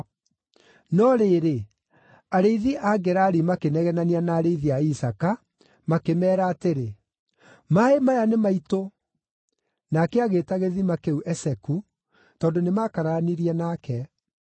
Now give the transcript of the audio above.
No rĩrĩ, arĩithi a Gerari makĩnegenania na arĩithi a Isaaka, makĩmeera atĩrĩ, “Maaĩ maya nĩ maitũ!” Nake agĩĩta gĩthima kĩu Eseku, tondũ nĩmakararanirie nake.